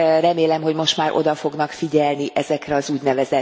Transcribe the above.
Remélem, hogy most már oda fognak figyelni ezekre az ún.